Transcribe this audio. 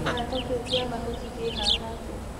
Kĩhato kĩu kĩa makuti kĩha hate